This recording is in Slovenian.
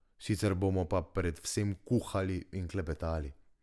Sicer bomo pa predvsem kuhali in klepetali.